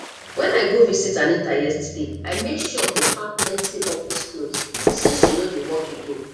when i go visit anita yesterday i make sure to pack plenty office cloth since she no dey work again